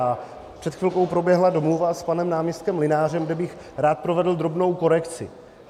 A před chvilkou proběhla domluva s panem náměstkem Mlynářem, kde bych rád provedl drobnou korekci.